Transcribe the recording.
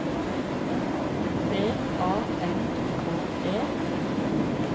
B A N K E